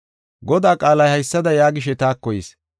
Godaa qaalay haysada yaagishe taako yis.